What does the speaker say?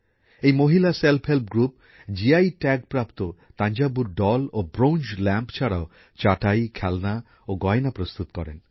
এই মহিলা স্বনির্ভর গোষ্ঠী জিআই ট্যাগ প্রাপ্ত থাঞ্জাভুরের পুতুল ও ব্রোঞ্জের প্রদীপ ছাড়াও চাটাই খেলনা ও গয়না প্রস্তুত করেন